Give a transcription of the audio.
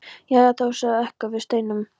Já, þau sögðu okkur af steininum.